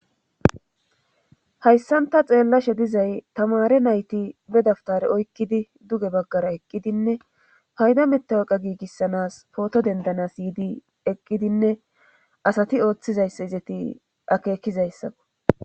hayssanta xeellashe dizay tamare nayti bedaftare oykkidi duge baggara eqqidinne payda mettawaqa giigissanas pooto dendanas yyiidi eqqidinne asati ooththizayssa izeti akeekizayssakko